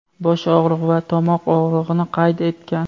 bosh og‘rig‘i va tomoq og‘rig‘ini qayd etgan.